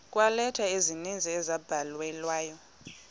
kweeleta ezininzi ezabhalelwa